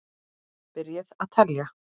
Byrjið að telja.